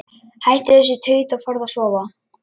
Hættu þessu tauti og farðu að sofa.